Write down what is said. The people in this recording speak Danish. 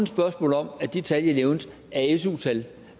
spørgsmål om at de tal jeg nævnte er su tal